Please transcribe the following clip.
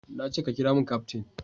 Na ce ka kiramin kaftin